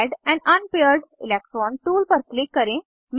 add an unpaired electron tool पर click करें